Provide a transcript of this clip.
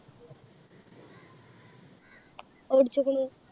ഓടിച്ചിക്കിണ്